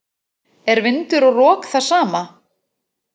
Er vindur og rok það sama?